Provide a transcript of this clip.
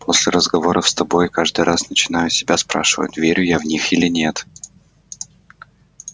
после разговоров с тобой каждый раз начинаю себя спрашивать верю я в них или нет